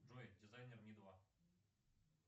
джой дизайнер ми два